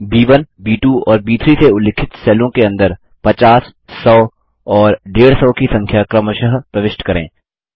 ब1 ब2 और ब3 से उल्लिखित सेलों के अंदर 50100 और 150 की संख्या क्रमशः प्रविष्ट करें